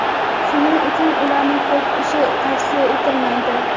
shuning uchun ularni ko‘p ichish tavsiya etilmaydi.